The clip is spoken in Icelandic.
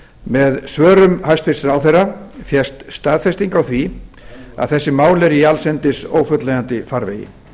með svörum hæstvirtur ráðherra fékkst staðfesting á því að þessi mál eru í allsendis ófullnægjandi farvegi